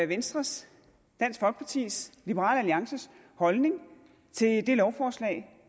venstres dansk folkepartis liberal alliances holdning til det lovforslag